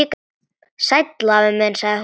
Sæll afi minn sagði hún.